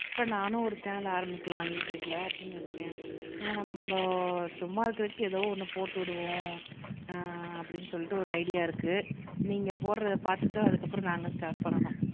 அப்புறம் நானும் ஒரு சேனல் ஆரம்பிக்கலாம் யுடுயூப்ல அப்படின்னு இருக்கேன் ஏன்னா நம்ம சும்மா இருக்கிறதுக்கு ஏதோ ஒண்ணு போட்டு விடுவோம் ஆஹ் அப்படின்னு சொல்லிட்டு ஒரு ஐடியா இருக்கு நீங்க போடுறதை பார்த்துட்டுதான் அதுக்கப்புறம் நாங்க ஸ்டார்ட் பண்ணணும்